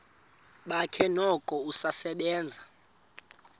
bakhe noko usasebenza